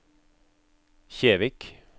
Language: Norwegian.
Kjevik